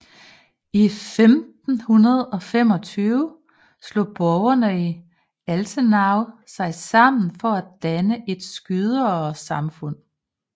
I 1525 slog borgere i Altenau sig sammen for at danne et skyderesamfund